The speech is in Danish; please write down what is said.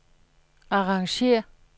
arrangér